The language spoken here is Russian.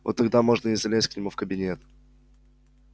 вот тогда и можно залезть к нему в кабинет